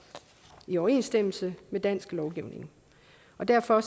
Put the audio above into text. i overensstemmelse med dansk lovgivning og derfor